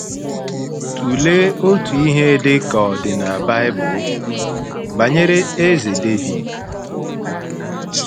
Tụlee otu ihe ndekọ dị na Bible banyere Eze Devid.